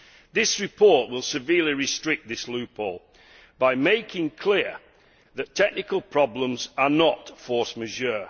This report will severely restrict this loophole by making clear that technical problems are not force majeure.